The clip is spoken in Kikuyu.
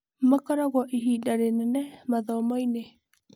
Makoragwo ihinda rĩnene mathomo-inĩ.